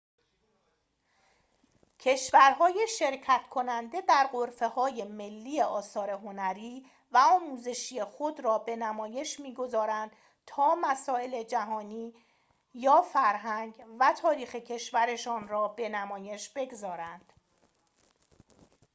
کشورهای شرکت‌کننده در غرفه‌های ملی آثار هنری و آموزشی خود را به نمایش می‌گذارند تا مسائل جهانی یا فرهنگ و تاریخ کشورشان را به نمایش بگذارند